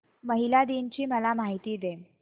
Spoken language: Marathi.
महिला दिन ची मला माहिती दे